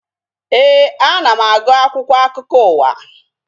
Éè, ana m agụ akwụkwọ akụkọ ụwa